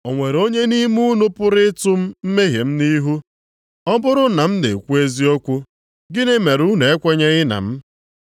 O nwere onye nʼime unu pụrụ ịtụ m mmehie m nʼihu? Ọ bụrụ na m na-ekwu eziokwu, gịnị mere unu ekwenyeghị na m?